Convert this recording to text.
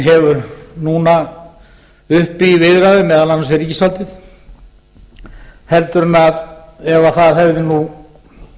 hefur núna uppi í viðræðum meðal annars við ríkisvaldið heldur en ef það hefði nú